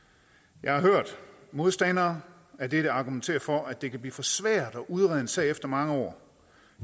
jeg har hørt modstandere af dette argumentere for at det kan blive for svært at udrede en sag efter mange år